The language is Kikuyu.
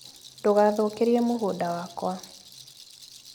Ndũgathũkĩrie mũgũnda wakwa.